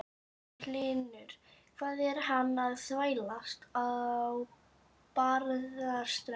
Magnús Hlynur: Hvað er hann að þvælast á Barðaströnd?